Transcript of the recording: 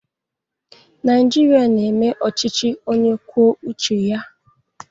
Naịjirịa na-eme ọchịchị onye kwuo uche ya.